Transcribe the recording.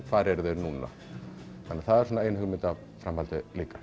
hvar eru þeir núna þannig að það er svona ein hugmynd að framhaldinu líka